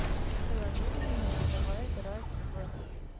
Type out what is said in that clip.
приложение имена давай играть в